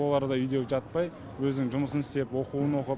олар да үйде жатпай өзінің жұмысын істеп оқуын оқып